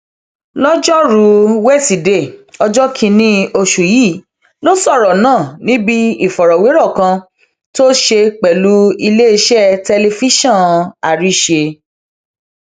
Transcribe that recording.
lọjọrùú wíṣídẹẹ ọjọ kìnínní oṣù yìí ló sọrọ náà níbi ìfọrọwérọ kan tó ṣe pẹlú iléeṣẹ tẹlifíṣàn àrísè